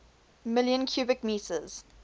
million cubic meters